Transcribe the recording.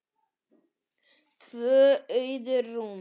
Tvö auð rúm.